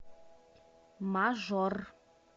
мажор